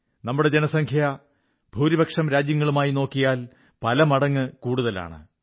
നമ്മുടെ ജനസംഖ്യ ഭൂരിപക്ഷം രാജ്യങ്ങളുമായി നോക്കിയാൽ പലമടങ്ങ് കൂടുതലാണ്